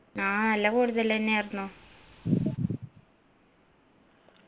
ആ നല്ല കൂടുതലെന്നേർന്നു